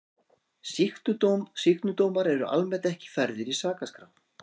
Sýknudómar eru almennt ekki færðir í sakaskrá.